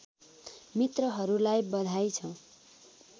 मित्रहरूलाई बधाई छ